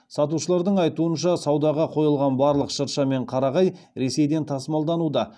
сатушылардың айтуынша саудаға қойылған барлық шырша мен қарағай ресейден тасымалдануда